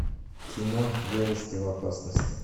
кино девушки в опасности